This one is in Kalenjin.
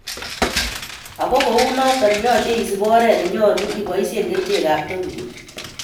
Ango kou notok yoche isib oret ne nyolu iboisien kerichek ab topical